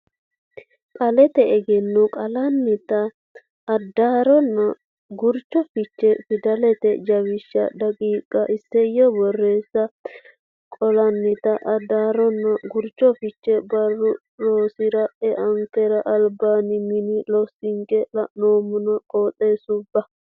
Qaallate Egenno Qaallannita addarronna gurcho fiche Fidalete jawishsha daqiiqa Isayyo borreessa Qaallannita Addaarronna Gurcho Fiche Barru rosira eankera albaanni mini loosonke la neemmona qixxaabbe.